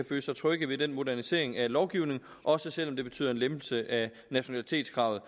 føle sig trygge ved den modernisering af lovgivningen også selv om det betyder en lempelse af nationalitetskravet